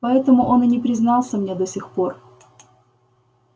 поэтому он и не признался мне до сих пор